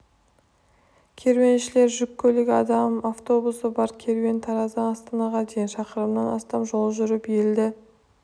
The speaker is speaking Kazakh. керуеншілер жүк көлігі адам автобусы бар керуен тараздан астанаға дейін шақырымнан астам жол жүріп елді